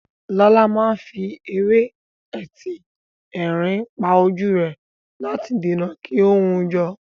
Lọlá máa fi ewé etí erin pa ojú rẹ̀ láti dènà kí ó hun jọ.